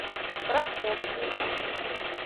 прокофьеве